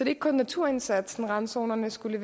ikke kun naturindsatsen randzonerne skulle